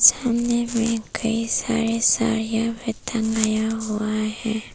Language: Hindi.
सामने में कई सारे साड़िया भी टंगाया हुआ है।